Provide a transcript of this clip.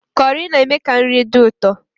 Kọrị na-eme ka nri dị ụtọ